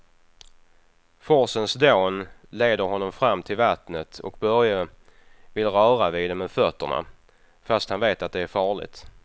Forsens dån leder honom fram till vattnet och Börje vill röra vid det med fötterna, fast han vet att det är farligt.